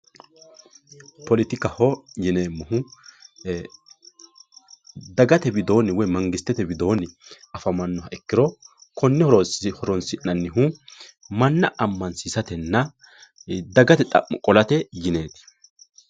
poletikaho yineemmohu dagate widoonni woyi mangistete widoonni afamannoha ikkiro konne horonsi'nanihu manna amansiisatenna dagate xa'mo qolate yineeti.